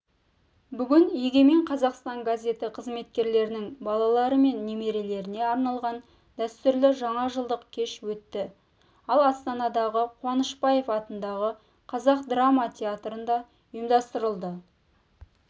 бүгін егемен қазақстан газеті қызметкерлерінің балалары мен немерелеріне арналған дәстүрлі жаңажылдық кеш өтті ол астанадағы қуанышбаев атындағы қазақ драма тетрында ұйымдастырылды